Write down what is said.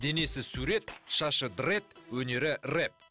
денесі сурет шашы дрэд өнері рэп